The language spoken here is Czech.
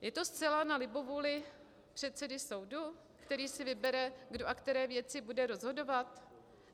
Je to zcela na libovůli předsedy soudu, který si vybere, kdo a které věci bude rozhodovat?